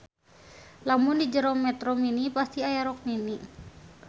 Lamun di jero metro mini pasti aya rok mini.